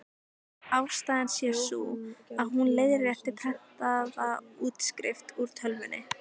Ástæðan sé sú, að hún leiðrétti prentaða útskrift úr tölvunni.